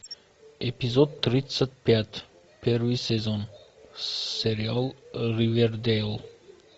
эпизод тридцать пять первый сезон сериал ривердейл